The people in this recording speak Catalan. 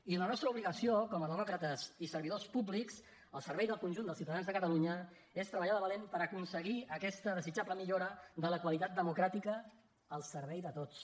i la nostra obligació com a demòcrates i servidors públics al servei del conjunt dels ciutadans de catalunya és treballar de valent per aconseguir aquesta desitjable millora de la qualitat democràtica al servei de tots